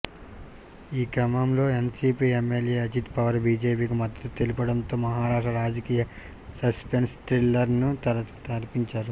ఈ క్రమంలో NCP MLA Ajit Pawar బీజేపీకి మద్దతు తెలుపడంతో మహారాష్ట్ర రాజకీయాలు సస్పెన్స్ థ్రిల్లర్ను తలపించాయి